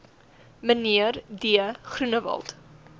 mnr d groenewald